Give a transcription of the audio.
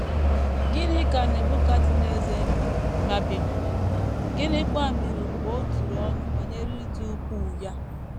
Gịnị ka Nebukadneza meere Babilọn, gịnịkwa mere mgbe o turu ọnụ banyere ịdị ukwuu ya?